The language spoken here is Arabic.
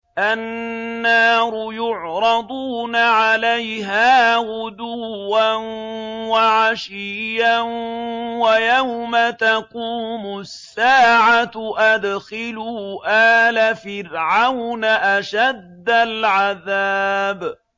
النَّارُ يُعْرَضُونَ عَلَيْهَا غُدُوًّا وَعَشِيًّا ۖ وَيَوْمَ تَقُومُ السَّاعَةُ أَدْخِلُوا آلَ فِرْعَوْنَ أَشَدَّ الْعَذَابِ